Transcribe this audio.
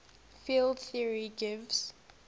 field theory gives